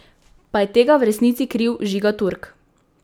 Pa je tega v resnici kriv Žiga Turk?